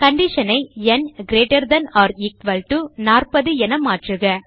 condition ஐ ந் greater than or equal to 40 என மாற்றுக